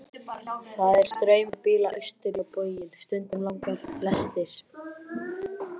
Það er straumur bíla austur á bóginn, stundum langar lestir.